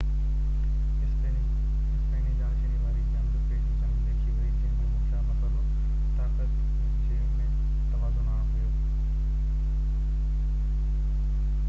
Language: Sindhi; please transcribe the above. اسپيني جانشيني واري جنگ پهرين جنگ ليکي وئي جنهن جو مکيه مسئلو طاقت جي ۾ توازن آڻڻ هيو